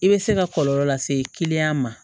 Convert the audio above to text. I bɛ se ka kɔlɔlɔ lase kiliyan ma